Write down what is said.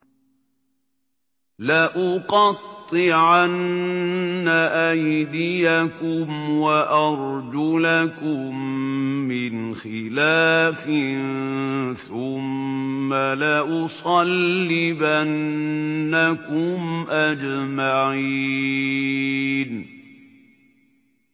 لَأُقَطِّعَنَّ أَيْدِيَكُمْ وَأَرْجُلَكُم مِّنْ خِلَافٍ ثُمَّ لَأُصَلِّبَنَّكُمْ أَجْمَعِينَ